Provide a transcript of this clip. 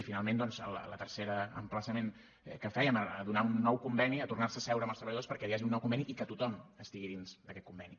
i finalment doncs el tercer emplaçament que fèiem a donar un nou conveni a tornar se a seure amb els treballadors perquè hi hagi un nou conveni i que tothom estigui dins d’aquest conveni